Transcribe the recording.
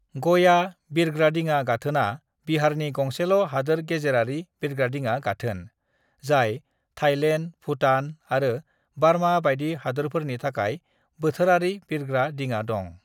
"गया बिरग्रादिङा गाथोनआ बिहारनि गंसेल' हादोर गेजेरारि बिरग्रादिङा गाथोन, जाय थाईलैंड, भूटान आरो बारमा बायदि हादोरफोरनि थाखाय बोथोरारि बिरग्रा दिङा दं।"